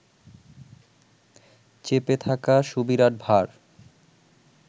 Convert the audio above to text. চেপে থাকা সুবিরাট ভার